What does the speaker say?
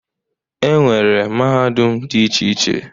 E nwere mahadum dị iche iche.